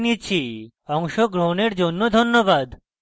অংশগ্রহনের জন্য ধন্যবাদ